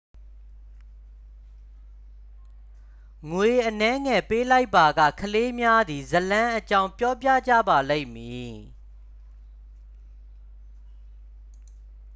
ငွေအနည်းငယ် ပေးလိုက်ပါက ကလေးများသည် ဇာတ်လမ်းအကြောင်း ပြောပြကြပါလိမ့်မည်